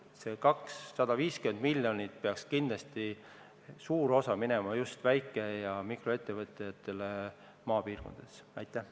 Sellest 250 miljonist peaks kindlasti suur osa minema just väike- ja mikroettevõtetele maapiirkondadesse.